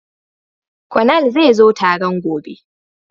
Konal zai zo taron gobe